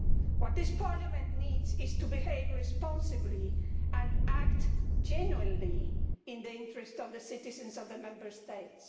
What this Parliament needs is to behave responsibly and act genuinely in the interests of the citizens of the Member States.